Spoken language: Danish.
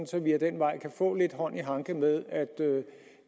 så vi ad den vej kan få lidt hånd i hanke med at